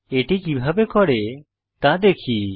এটি কিভাবে করে তা দেখি